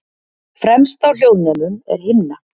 fremst á hljóðnemum er himna